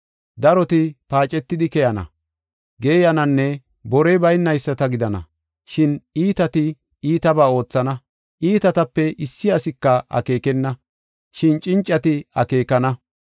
Daroti paacetidi keyana, geeyananne borey baynayisata gidana; shin iitati, iitabaa oothana. Iitatape issi asika akeekenna; shin cincati akeekana.